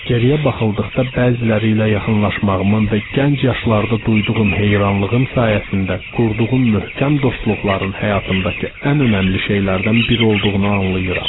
Geriyə baxıldıqda bəziləri ilə yaxınlaşmağımın və gənc yaşlarda duyduğum heyranlığım sayəsində qurduğum möhkəm dostluqların həyatımdakı ən önəmli şeylərdən biri olduğunu anlayıram.